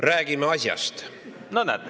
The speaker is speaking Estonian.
Räägime asjast.